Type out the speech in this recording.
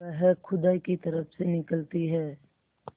वह खुदा की तरफ से निकलती है